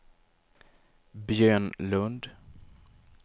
Björn Lund